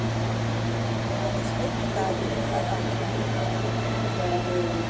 Aðeins einn dagur að afplána.